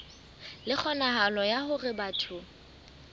le kgonahalo ya hore batho